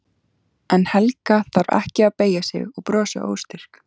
En Helga þarf ekki að beygja sig og brosa óstyrk.